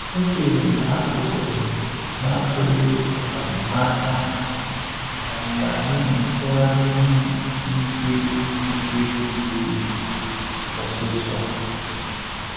Echere m na ha kwụsịrị na atụghi um anya um ya n'ihi ntụgharị ihu igwe igwe jụrụ oyi ọsịsọ